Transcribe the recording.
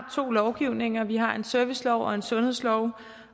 to lovgivninger vi har en servicelov og en sundhedslov